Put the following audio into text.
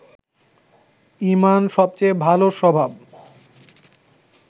ঈমান সবচেয়ে ভালো স্বভাব